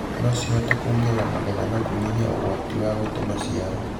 no cihote kuongerera magetha na kũnyihia ũgwati wa gũte maciaro.